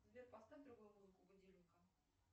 сбер поставь другую музыку будильника